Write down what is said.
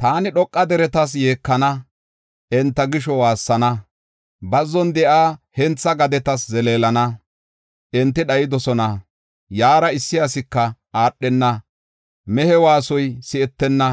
Taani dhoqa deretas yeekana; enta gisho waassana; bazzon de7iya hentha gadetas zeleelana. Enti dhayidosona; yaara issi asika aadhenna. Mehe waasoy si7etenna;